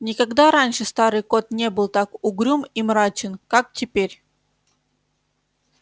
никогда раньше старый кот не был так угрюм и мрачен как теперь